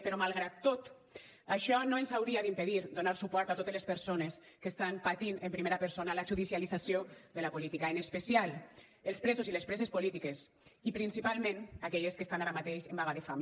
però malgrat tot això no ens hauria d’impedir donar suport a totes les persones que estan patint en primera persona la judicialització de la política en especial els presos i les preses polítiques i principalment aquelles que estan ara mateix en vaga de fam